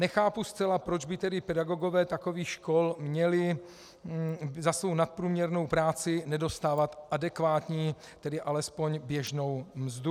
Nechápu zcela, proč by tedy pedagogové takových škol měli za svou nadprůměrnou práci nedostávat adekvátní, tedy alespoň běžnou mzdu.